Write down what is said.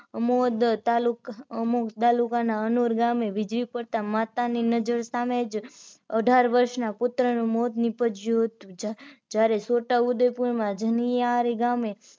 અમોદ તાલુક તાલુકાના અનોર ગામે વીજળી પડતાં માતા ની નજર સામે જ અઢાર વર્ષના પુત્ર નું મોત નીપજ્યું છોટાઉદેપુર માં જનિયાર ગામે